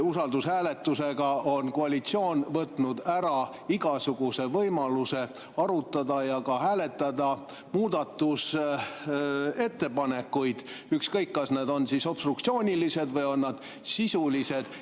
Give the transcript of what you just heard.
Usaldushääletusega on koalitsioon võtnud ära igasuguse võimaluse arutada ja ka hääletada muudatusettepanekuid, ükskõik kas need on obstruktsioonilised või on nad sisulised.